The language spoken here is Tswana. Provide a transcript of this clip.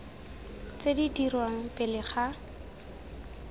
tse di dirwang pele ga